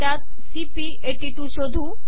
त्यात सीपी82 शोधू